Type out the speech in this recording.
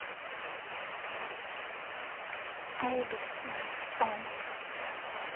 эй би си сонгс